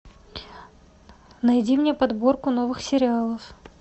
найди мне подборку новых сериалов